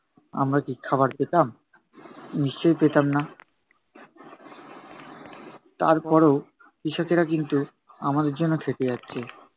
আমরা কি খাবার পেতাম? নিশ্চয়ই পেতাম না। তারপরও কৃষকেরা কিন্তু আমাদের জন্য খেটে যাচ্ছে।